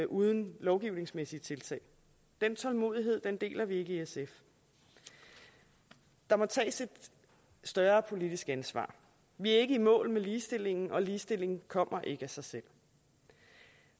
uden lovgivningsmæssige tiltag den tålmodighed deler vi ikke i sf der må tages et større politisk ansvar vi er ikke i mål med ligestillingen og ligestillingen kommer ikke af sig selv